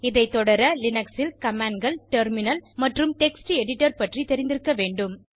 இதை தொடர லினக்ஸ் commandகள் டெர்மினல் மற்றும் டெக்ஸ்ட் எடிடர் பற்றி தெரிந்திருக்க வேண்டும்